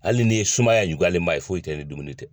Hali ni ye sumaya juguyalen ba ye foyi tɛ ni dumuni tɛ.